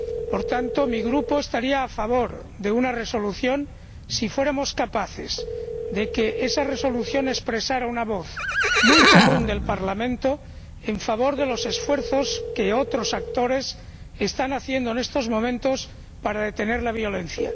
Por tanto, mi grupo estaría a favor de una resolución si fuéramos capaces de que esa resolución expresara una voz muy común del Parlamento en favor de los esfuerzos que otros actores están haciendo en estos momentos para detener la violencia.